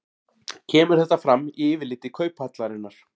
Kemur þetta fram í yfirliti Kauphallarinnar